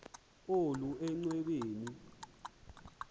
olu enchwa beni